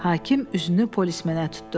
Hakim üzünü polismenə tutdu.